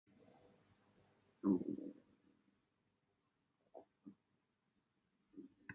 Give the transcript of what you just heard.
Jóhanna: Sérðu einhverja lausn á þessu máli?